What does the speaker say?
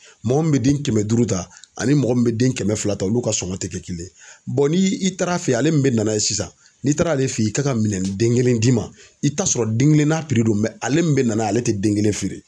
Mɔgɔ min bɛ den kɛmɛ duuru ta ani mɔgɔ min bɛ den kɛmɛ fila ta olu ka sɔngɔn tɛ kɛ kelen ye ni i taara fe yen ale min bɛ nana ye sisan n'i taara ale fe yen ka minɛn den kelen d'i ma i t'a sɔrɔ den kelen na don ale min bɛ nana ye ale tɛ den kelen feere.